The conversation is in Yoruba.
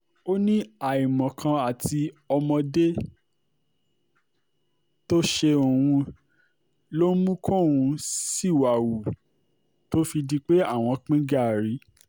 ó ní àìmọ̀kan àti ọmọdé tó ṣe òun ló mú kóun ṣìwà-hù tó fi di pé àwọn pín gàárì